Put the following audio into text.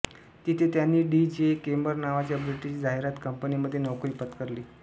तिथे त्यांनी D J Keymer नावाच्या ब्रिटिश जाहिरात कंपनीमध्ये नोकरी पत्करली